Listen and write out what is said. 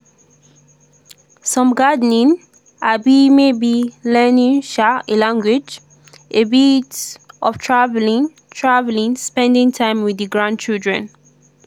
some gardening um maybe learning um a language a bit of travelling travelling spending time with di grandchildren.